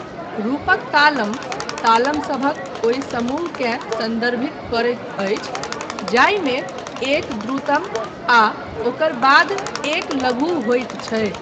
रूपक तालम, तालम सभक ओहि समूहकेँ सन्दर्भित करैत अछि जाहिमे एक द्रुतम आ ओकर बाद एक लघु होइत छै।